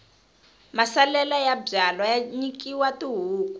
masalela ya byalwa ya nyikiwa tihuku